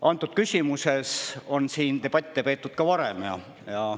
Antud küsimuses on siin debatte peetud ka varem.